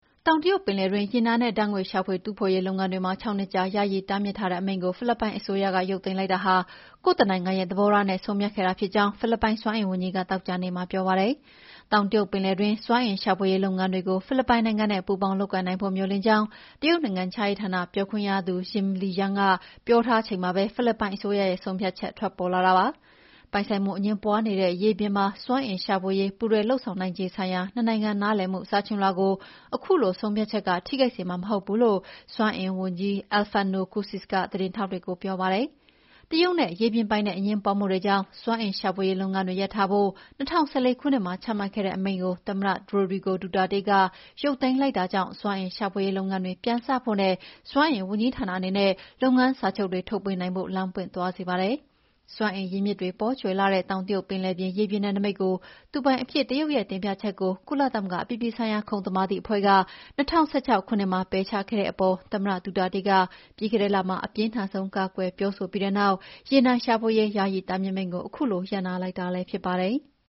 တောင်တရုတ်ပင်လယ်တွင်း ရေနံနဲ့ ဓာတ်ငွေ့ရှာဖွေ တူးဖော်ရေးလုပ်ငန်းတွေ ၆ နှစ်ကြာ ယာယီတားမြစ်ထားတဲ့ အမိန့်ကို ဖိလစ်ပိုင်အစိုးရက ရုပ်သိမ်းလိုက်တာဟာ ကိုယ့်တနိုင်ငံရဲ့သဘောထားနဲ့ ဆုံးဖြတ်ခဲ့တာဖြစ်ကြောင်း ဖိလစ်ပိုင်စွမ်းအင်ဝန်ကြီးက သောကြာနေ့မှာပြောပါတယ်။ တောင်တရုတ်ပင်လယ်တွင်း စွမ်းအင်ရှာဖွေရေးလုပ်ငန်းတွေကို ဖိလစ်ပိုင်နိုင်ငံနဲ့ ပူးပေါင်းလုပ်ကိုင်နိုင်ဖို့ မေ ျှာ်လင့်ကြောင်း တရုတ်နိုင်ငံခြားရေးဌာနပြောခွင့်ရသူ Zhap Lijan က ပြောထားချိန်မှာပဲ ဖိလစ်ပိုင်အစိုးရရဲ့ ဆုံးဖြတ်ချက် ထွက်ပေါ်လာတာပါ။ ပိုင်ဆိုင်မှုအငြင်းပွားနေတဲ့ ရေပြင်မှာ စွမ်းအင်ရှာဖွေရေး ပူးတွဲလုပ်ဆောင်နိုင်ခြေဆိုင်ရာ နှစ်နိုင်ငံ နားလည်မှုစာချွန်လွှာကို အခုဆုံးဖြတ်ချက်က ထိခိုက်စေမှာမဟုတ်ဘူးလို့ စွမ်းအင်ဝန်ကြီး Alfonso Cusi ကသတင်းထောက်တွေကိုေ ပြာပါတယ်။ တရုတ်နဲ့ ရေပြင်ပိုင်နက်အငြင်းပွားမှုတွေကြောင့် စွမ်းအင်ရှာဖွေရေးလုပ်ငန်းတွေရပ်ထားဖို့ ၂၀၁၄ ခုနှစ်မှာချမှတ်ခဲ့တဲ့ အမိန့်ကို သမ္မတ ရိုဒရီကို ဒူတာတေးက ရုပ်သိမ်းလိုက်တဲ့အတွက် စွမ်းအင်ရှာဖွေရေးလုပ်ငန်းတွေ ပြန်စဖို့နဲ့ စွမ်းအင်ဝန်ကြီးဌာနအနေနဲ့ လုပ်ငန်းစာချုပ်တွေ ထုတ်ပေးနိုင်ဖို့ လမ်းပွင့်သွားစေပါတယ်။ စွမ်းအင်ရင်းမြစ်တွေ ပေါကြွယ်လှတဲ့ တောင်တရုတ်ပင်လယ်ရေပြင်နယ်နိမိတ်ကို သူပိုင်အဖြစ် တရုတ်ရဲ့တင်ပြချက်ကို ကုလသမဂ္ဂ အပြည်ပြည်ဆိုင်ရာ ခုံသမာဓိအဖွဲ့က ၂၀၁၆ ခုနှစ်မှာ ပယ်ချခဲ့တဲ့အပေါ် သမ္မတ ဒူတာတေးက ပြီးခဲ့တဲ့လမှာ အပြင်းထန်ဆုံး ကာကွယ်ပြောဆိုပြီးတဲ့နောက် ရေနံရှာဖွေရေး ယာယီတားမြစ်မိန့်ကို ခုလို ရပ်နားလိုက်တာလည်းဖြစ်ပါတယ်။